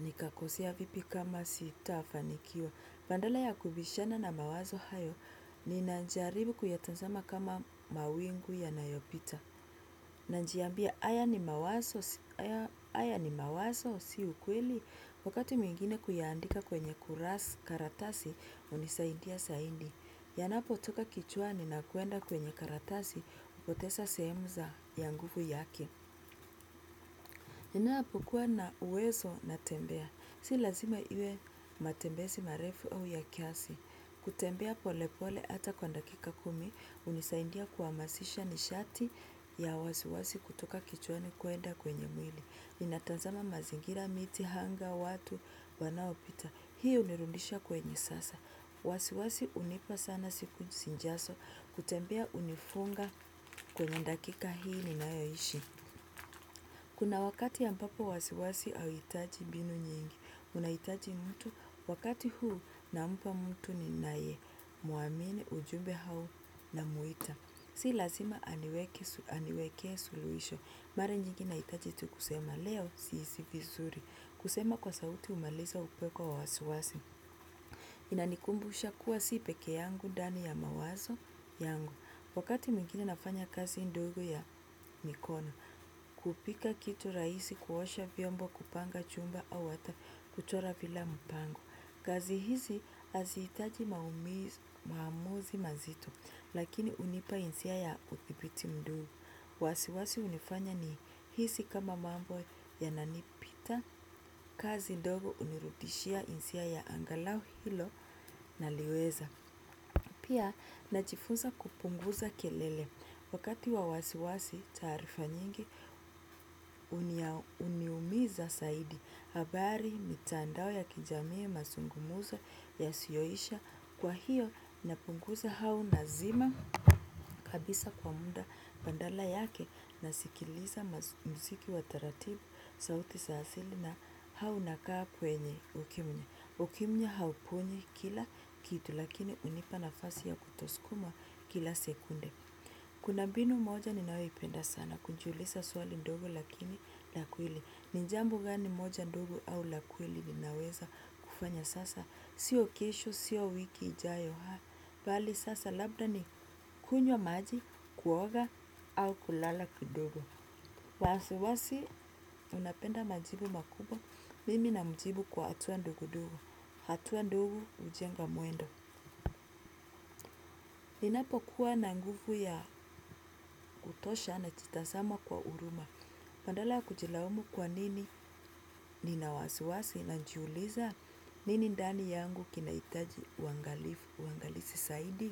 nikakosea, vipi kama sitafanikiwa. Badala ya kubishana na mawazo hayo ninajaribu kuyatazama kama mawingu yanayopita. Najiambia haya ni mawazo si ukweli wakati mwingine kuyaandika kwenye kurasa karatasi hunisaidia zaidi. Yanapotoka kichwani na kuenda kwenye karatasi hupoteza sehemu ya nguvu yake. Ninapokuwa na uwezo natembea. Si lazima iwe matembezi marefu au ya kiasi. Kutembea polepole hata kwa dakika kumi hunisaidia kuhamasisha nishati ya wasiwasi kutoka kichwani kwenda kwenye mwili. Ninatazama mazingira, miti, anga, watu wanaopita. Hii hunirudisha kwenye sasa. Wasiwasi hunipa sana siku zijazo. Kutembea hunifunga kwenye dakika hii ninayoishi. Kuna wakati ambapo wasiwasi hauhitaji mbinu nyingi. Unahitaji mtu wakati huu nampa mtu ninaye mwamini ujumbe au namuita. Si lazima aniwekee suluhisho. Mara nyingi nahitaji tu kusema leo sihisi vizuri. Kusema kwa sauti humaliza upeko wa wasiwasi. Inanikumbusha kuwa si peke yangu ndani ya mawazo yangu. Wakati mwingine nafanya kazi ndogo ya mikono. Kupika kitu rahisi, kuosha vyombo, kupanga chumba au hata kuchora bila mpango. Kazi hizi hazihitaji maamuzi mazito lakini hunipa hisia ya uthibiti mduo. Wasiwasi hunifanya nihisi kama mambo yananipita. Kazi ndogo hunirudishia hisia ya angalau hilo naliweza. Pia najifunza kupunguza kelele. Wakati wa wasiwasi taarifa nyingi huniumiza zaidi. Habari, mitandao ya kijamii, mazungumzo yasiyoisha. Kwa hiyo napunguza au nazima kabisa kwa muda. Badala yake nasikiliza muziki wa taratibu, sauti za asili au nakaa kwenye ukimya. Ukimya hauponyi kila kitu lakini hunipa nafasi ya kutosukuma kila sekunde. Kuna mbinu moja ninayoipenda sana kujiuliza swali ndogo lakini la kweli. Ni jambo gani moja ndogo au la kweli ninaweza kufanya sasa sio kesho, sio wiki ijayo bali sasa labda ni kunywa maji kuoga au kulala kidogo. Wasiwasi unapenda majibu makubwa. Mimi namjibu kwa hatua ndogondogo. Hatua ndogo hujenga mwendo. Ninapokuwa na nguvu ya kutosha, najitazama kwa huruma. Badala ya kujilaumu kwa nini nina wasiwasi najiuliza. Nini ndani yangu kinahitaji uangalizi zaidi?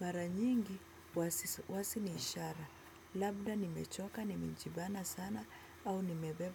Mara nyingi wasiwasi ni ishara. Labda nimechoka, nimejibana sana au nimebeba.